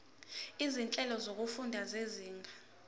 izinhlelo zokufunda zezinga